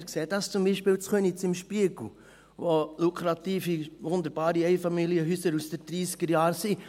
Wir sehen dies zum Beispiel in Köniz, im Spiegel, wo es lukrative, wunderbare Einfamilienhäuser aus den Dreissigerjahren gibt.